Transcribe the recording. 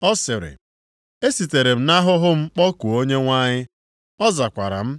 Ọ sịrị, “Esitere m nʼahụhụ m kpọkuo Onyenwe anyị, ọ zakwara m.